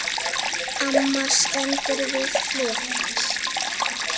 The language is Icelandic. Amma stendur við hlið hans.